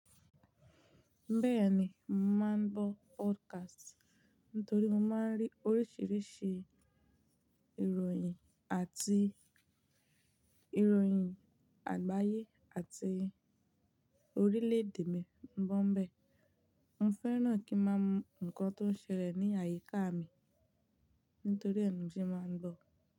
Bẹ́ẹ̀ni, n màá ń gbọ́ podcast ntorí mo máa ń rí oríṣiríṣi ìròyìn àti ìròyìn àgbáyé àti orílẹ̀ èdè mi. Mo bọ̀ n bẹ́ẹ̀. Mo fẹ́ràn kí n máa hmm nǹkan tó ń ṣẹlẹ̀ ní àyíká mi ntorí ẹ ni mo se máa ń gbọ́.